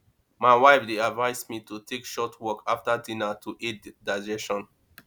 my wife dey advise me to take short walk after dinner to aid digestion